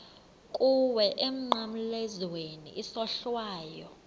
kuwe emnqamlezweni isohlwayo